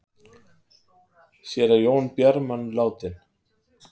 Séra Jón Bjarman látinn